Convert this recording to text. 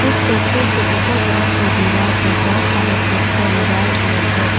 उस सोफे के ऊपर तरफ़ के दीवार पर बहुत सारे पोस्टर लगाए हुए है।